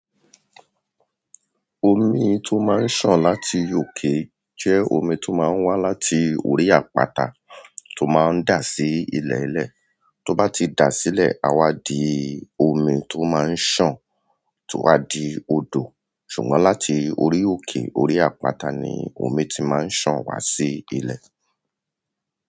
Omi tó máa ń sàn láti òkè jẹ́ omi tó máa ń wá láti orí àpáta tó máa ń dà sí ilẹ̀lẹ̀. Toba ti da sile, a wa di omi ti o ma n san, to wa di odo ṣùgbọ́n láti orí òkè, orí àpáta ni omi ti máa ń sàn wá sí ilẹ̀.